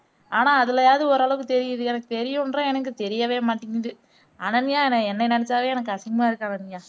ஆனா அதுலயாவது ஒரு அளவுக்கு தெரியுது எனக்கு தெரியுன்றேன் எனக்கு தெரியவே மாட்டேங்குது அனன்யா என்னயை நினைச்சாவே எனக்கு அசிங்கமா இருக்கு அனன்யா